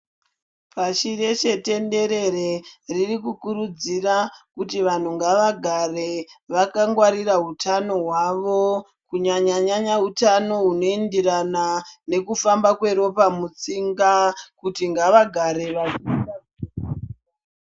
Pashi reshe tenderere riri kukurudzira kuti vanhu ngavagare vakangwarira utano hwavo kunyanyanyanya utano hunoenderana nekufamba kweropa mutsinga kuti ngavagare ........